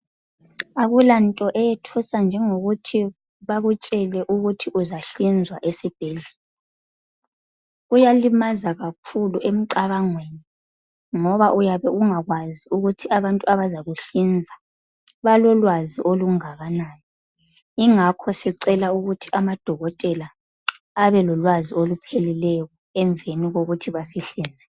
Akulanto eyethusa njengokuthi bakutshele ukuthi uzahlinzwa esibhedlela. Kuyalimaza kakhulu emcabangweni ngoba uyabe ungakwazi ukuthi abantu abazakuhlinza balolwazi olungakanani, yingakho sicela ukuthi amadokotela abe lolwazi olupheleleyo emveni kokuthi basihlinze.